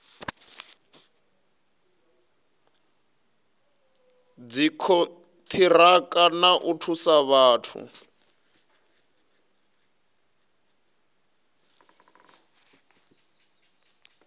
dzikoniraka na u thusa vhathu